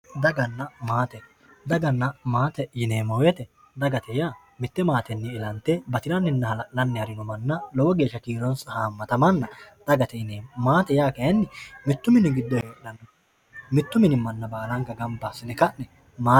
Daganna maate, daganna maate yineemmo woyiite dagate yaa mitte maatenni ilante batiranninna hala'lanni harino manna lowo geeshsha kiironsa haammata manna dagate yineemmo. Maate yaa kaayiinni mittu mini giddo heedhanno mittu mini manna baalanka gamba assine ka'ne aate..